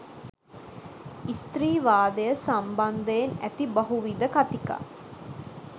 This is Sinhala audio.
ස්ත්‍රීවාදය සම්බන්ධයෙන් ඇති බහුවිධ කතිකා